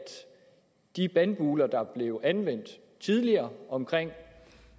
de bandbuller der blev anvendt tidligere om